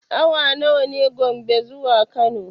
Awa nawa ne Gombe zuwa Kano?